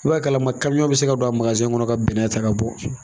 I b'a kalama bɛ se ka don a kɔnɔ ka bɛnɛ ta ka bɔ.